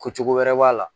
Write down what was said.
Ko cogo wɛrɛ b'a la